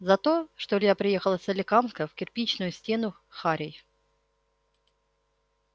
за то что илья приехал из соликамска в кирпичную стену харей